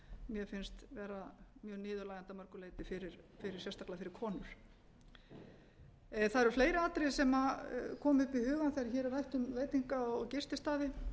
mér finnst vera mjög niðurlægjandi að mörgu leyti sérstaklega fyrir konur það eru fleiri atriði sem komu upp í hugann þegar hér er rætt um veitinga og gististaði